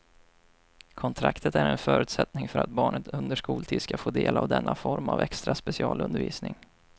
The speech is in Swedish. Kontraktet är en förutsättning för att barnet under skoltid ska få del av denna form av extra specialundervisning.